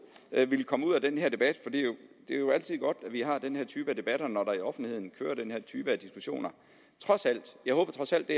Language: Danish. at det ville komme ud af den her debat for det er jo altid godt at vi har den her type debatter når der i offentligheden kører den her type diskussioner jeg håbede trods alt